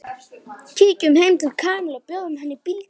Kíkjum heim til Kamillu og bjóðum henni í bíltúr